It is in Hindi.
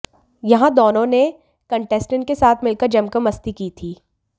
यहां दोनों ने कंटेस्टेंट्स के साथ मिलकर जमकर मस्ती की थी